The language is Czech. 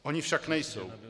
Ony však nejsou.